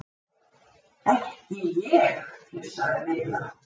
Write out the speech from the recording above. Ekki ég flissaði Milla.